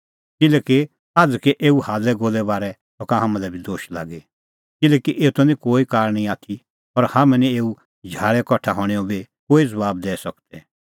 किल्हैकि आझ़कै एऊ हाल्लैगोल्लै हणें बारै सका हाम्हां लै बी दोश लागी किल्हैकि एतो निं कोई कारण ई आथी और हाम्हैं निं एऊ झाल़ै कठा हणैंओ बी कोई ज़बाब दैई सकदै